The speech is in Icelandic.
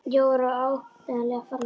Jói var áreiðanlega farinn að sofa.